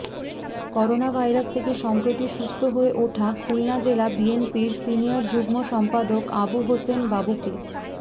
coronavirus থেকে সম্প্রতি সুস্থ হয়ে ওঠা খুলনা জেলা বিএনপির সিনিয়র যুগ্ম সম্পাদক আবু হোসেন বাবুকে